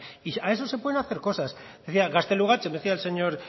y a eso se puede hacer cosas mira gaztelugatxe decía el señor